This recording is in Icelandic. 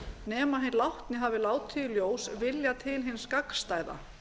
nema hinn látni hafi látið í ljós vilja til hins gagnstæða